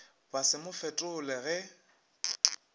ba se mo fetole ge